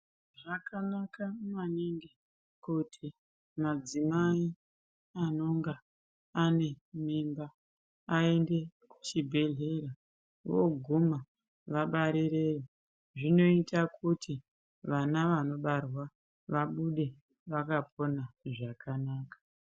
Zvakanaka maningi kuti madzimai anonga ane mimba aende kuchi bhehlera voguma vabarirewo zvinoita kuti vana vano barwa vabude vakapona zvakanaka.